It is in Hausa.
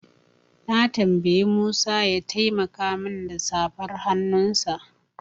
Na tambayi Musa ya taimaka min da safar hannunsa.